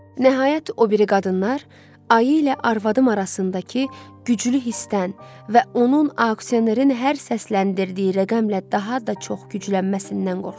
Nəhayət, o biri qadınlar ayi ilə arvadım arasındakı güclü hissdən və onun aksionerin hər səsləndirdiyi rəqəmlə daha da çox güclənməsindən qorxdular.